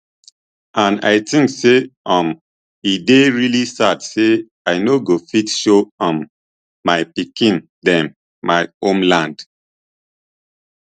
and i tink say um e dey really sad say i no go fit show um my pikin dem my homeland